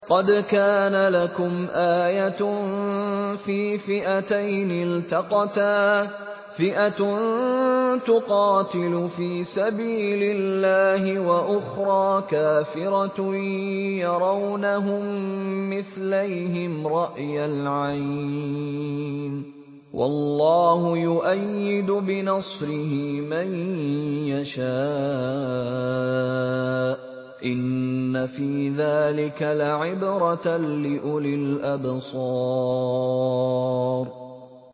قَدْ كَانَ لَكُمْ آيَةٌ فِي فِئَتَيْنِ الْتَقَتَا ۖ فِئَةٌ تُقَاتِلُ فِي سَبِيلِ اللَّهِ وَأُخْرَىٰ كَافِرَةٌ يَرَوْنَهُم مِّثْلَيْهِمْ رَأْيَ الْعَيْنِ ۚ وَاللَّهُ يُؤَيِّدُ بِنَصْرِهِ مَن يَشَاءُ ۗ إِنَّ فِي ذَٰلِكَ لَعِبْرَةً لِّأُولِي الْأَبْصَارِ